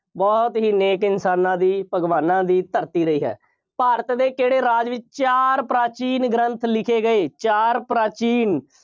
ਬਹੁਤ ਹੀ ਨੇਕ ਇਨਸਾਨਾਂ ਦੀ ਭਗਵਾਨਾਂ ਦੀ ਧਰਤੀ ਲਈ ਹੈ। ਭਾਰਤ ਦੇ ਕਿਹੜੇ ਰਾਜ ਵਿੱਚ ਚਾਰ ਪ੍ਰਾਚੀਨ ਗ੍ਰੰਥ ਲਿਖੇ ਗਏ। ਚਾਰ ਪ੍ਰਾਚੀਨ